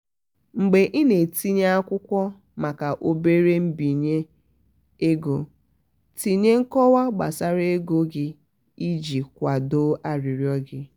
mgbe i na-etinye akwụkwọ maka obere mbinye egotinye nkọwa gbasara ego gi iji kwado arịrịọ gị.